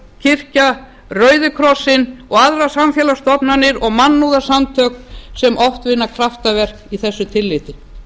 kirkja rauði krossinn og aðrar samfélagsstofnanir og mannúðarsamtök sem oft vinna kraftaverk í þessu tilliti